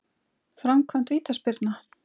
Framkvæmd vítaspyrna?